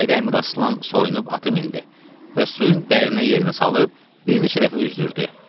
Çayda Əmiraslan soyunub atı mindi və suyun dərinə yerinə salıb bir neçə dəfə üzdürdü.